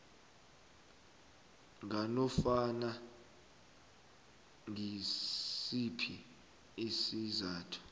nganofana ngisiphi isizathu